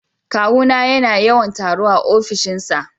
Kawuna yana yawan taro a ofishinsa